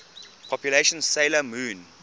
popular 'sailor moon